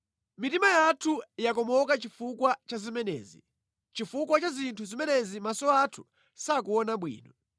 Mitima yathu yakomoka chifukwa cha zimenezi, chifukwa cha zinthu zimenezi maso athu sakuona bwino,